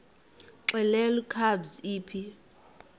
xelel kabs iphi